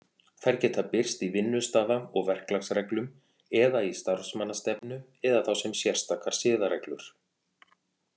Þær geta birst í vinnustaða- og verklagsreglum eða í starfsmannastefnu, eða þá sem sérstakar siðareglur.